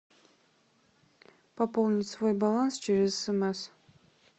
пополнить свой баланс через смс